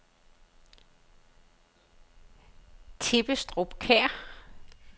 Tebbestrup Kær